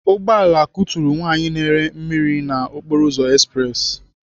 Ugbọala kuturu nwaanyị na-ere mmiri na okporoụzọ espressi.